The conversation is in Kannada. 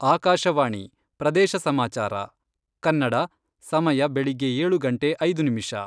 ಆಕಾಶವಾಣಿ ಪ್ರದೇಶ ಸಮಾಚಾರ ಕನ್ನಡ, ಸಮಯ ವೆಳಿಗ್ಗೆ ಏಳು ಗಂಟೆ ಐದು ನಿಮಿಷ.